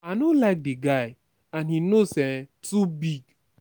i no like the guy and im nose um too big